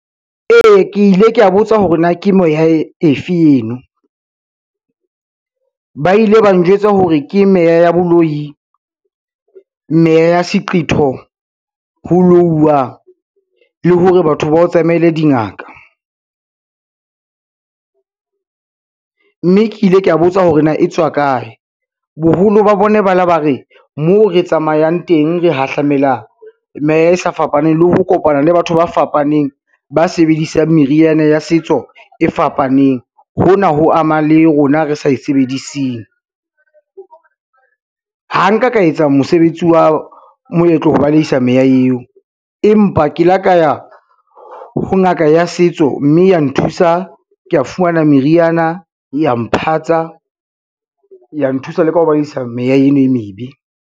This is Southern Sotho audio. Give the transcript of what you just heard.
Ee ke ile ka botsa hore na ke moya e efe eno, ba ile ba njwetsa hore ke meya ya boloi, meya ya seqetho, ho louwa le hore batho ba o tsamaile dingaka. Mme ke ile ka botsa hore na e tswa kae, boholo ba bona ba la ba re mo re tsamayang teng, re hahlamela meya e sa fapaneng le ho kopana le batho ba fapaneng ba sebedisang meriana ya setso e fapaneng, hona ho ama le rona re sa e sebediseng. Ha nka ka etsa mosebetsi wa moetlo ho balehisa meya eo, empa ke ile ka ya ho ngaka ya setso, mme ya nthusa ke a fumana meriana, ya mphatsa, ya nthusa le ka ho balehisa meya eno e mebe.